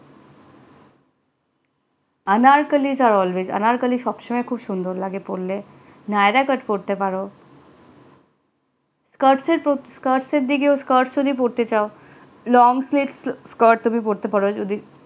Anarkali are always anarkali সব সময় খুব সুন্দর লাগে পড়লে naira cut পড়তে পারো skirts এর এর দিকে পড়তে চাও long skirts পোরতে পারো যদি